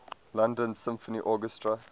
london symphony orchestra